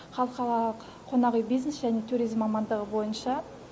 халқаралық қонақ үй бизнесі және туризм мамандығы бойынша